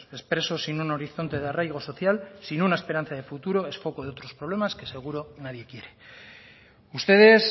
expreso sin un horizonte de arraigo social sin una esperanza de futuro es foco de otros problemas que seguro nadie quiere ustedes